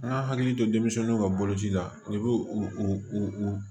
An ka hakili to denmisɛnninw ka boloci la i b'o o